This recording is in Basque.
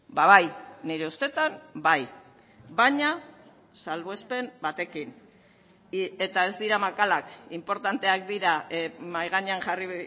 ba bai nire ustetan bai baina salbuespen batekin eta ez dira makalak inportanteak dira mahai gainean jarri